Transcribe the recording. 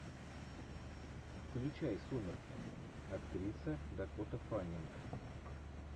включай сумерки актриса дакота фаннинг